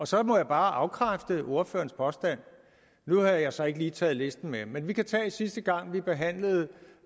så må jeg bare afkræfte ordførerens påstand nu har jeg så ikke lige taget listen med men vi kan tage sidste gang vi behandlede